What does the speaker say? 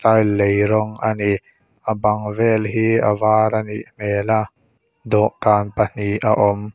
lei rawng a ni a bang vel hi a var a nih hmel a dawhkan pahnih a awm.